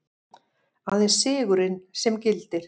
Aðeins sigurinn sem gildir.